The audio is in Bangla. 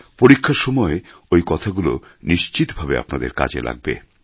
পরীক্ষার সময় ওই কথাগুলো নিশ্চিতভাবে আপনাদের কাজে লাগবে